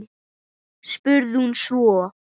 spurði hún svo.